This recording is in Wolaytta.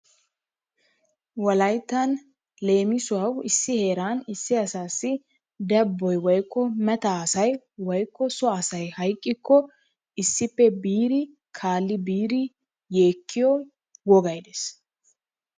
Wolayittan leemisuwawu issi heeran issi asaasi dabboy woyikko mata asay woyikko so asay hayiqqikko issippe biidi kaalli biidi yeekkiyo wogay des.